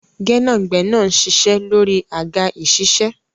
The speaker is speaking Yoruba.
Gẹ́nàgbẹ́nà ń ṣiṣẹ́ lórí àga ìṣiṣẹ́.